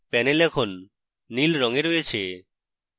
panel এখন নীল রঙে রয়েছে